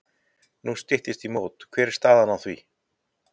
Nú styttist í mót og hver er staðan á því?